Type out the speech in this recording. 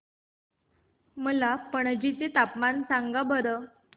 मला पणजी चे तापमान सांगा बरं